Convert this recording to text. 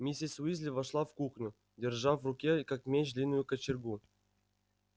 миссис уизли вошла в кухню держа в руке как меч длинную кочергу